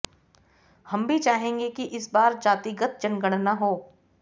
हम भी चाहेंगे कि इस बार जातिगत जनगणना हो